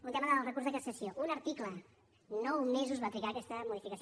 un tema del recurs de cassació un article nou mesos va trigar aquesta modificació